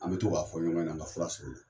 An bɛ to k'a fɔ ɲɔgɔn ɲɛna an ka fura sɔrɔ